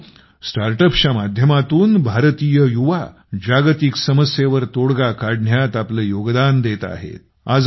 मित्रांनो StartUpsच्या माध्यमातून भारतीय युवा जागतिक समस्येवर तोडगा काढण्यात आपलं योगदान देत आहेत